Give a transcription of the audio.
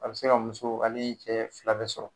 A bɛ se ka muso ani cɛ fila bɛ sɔrɔ.